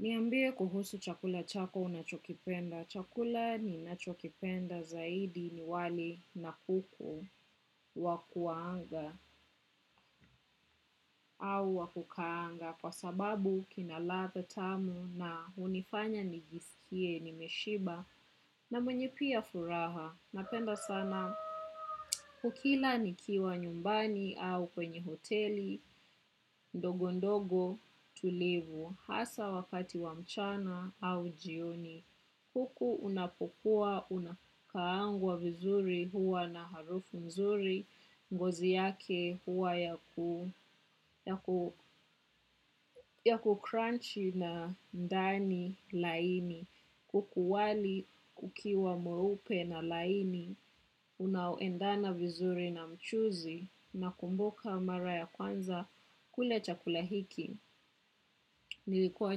Niambie kuhusu chakula chako unachokipenda. Chakula ninacho kipenda zaidi ni wali na kuku wakuaanga au wakukaanga kwa sababu kina ladha tamu na hunifanya nijisikie nimeshiba na mwenye pia furaha. Napenda sana, ukila nikiwa nyumbani au kwenye hoteli, ndogo ndogo tulivu, hasa wakati wamchana au jioni. Kuku unapokua, unakaangwa vizuri huwa na harufu nzuri, ngozi yake huwa ya kukranchi na ndani laini, kuku wali kukiwa mweupe na laini, unaoendana vizuri na mchuzi nakumbuka mara ya kwanza kula chakula hiki. Nilikuwa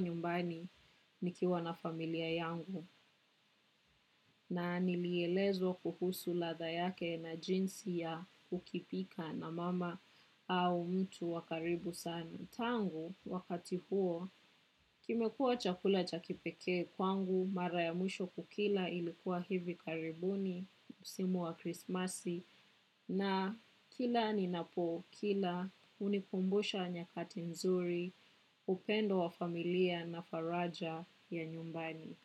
nyumbani nikiwa na familia yangu na nilielezwa kuhusu ladha yake na jinsi ya ukipika na mama au mtu wakaribu sana. Tangu wakati huo, kimekuwa chakula cha kipekee kwangu mara ya mwisho kukila ilikuwa hivi karibuni msimu wa krismasi na kila ninapo kila hunikumbusha nyakati nzuri upendo wa familia na faraja ya nyumbani.